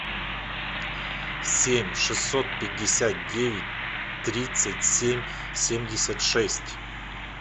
семь шестьсот пятьдесят девять тридцать семь семьдесят шесть